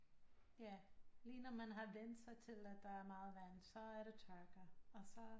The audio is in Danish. Ja lige når man har vænnet sig til at der er meget vand så er der tørke og så